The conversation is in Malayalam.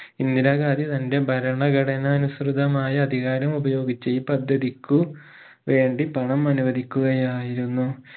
ഇന്ദിരാഗാന്ധി തനറെ ഭരണഘടനാ അനുസൃതമായ അധികാരം ഉപയോഗിച്ച് ഈ പദ്ധതിക്കു വേണ്ടി പണം അനുവധിക്കുകയായിരുന്നു